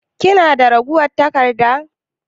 Kina da ragowar taƙarɗa?